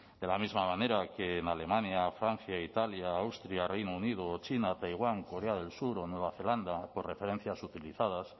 de la misma manera que en alemania francia italia austria reino unido o china taiwán corea del sur o nueva zelanda por referencias utilizadas